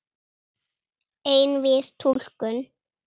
Einvíð túlkun